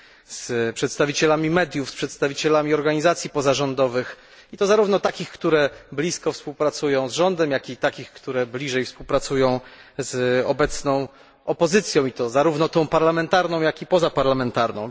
z przedstawicielami mediów, z przedstawicielami organizacji pozarządowych, i to zarówno takich, które blisko współpracują z rządem, jak i takich, które blisko współpracują z obecną opozycją i to zarówno tą parlamentarną, jak i pozaparlamentarną.